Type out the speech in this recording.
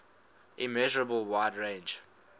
immeasurable wide range